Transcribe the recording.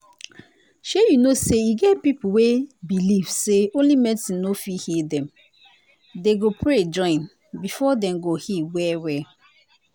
shey you know say e get people wey believe say only medicine no fit heal dem dem go pray join before them go heal well well.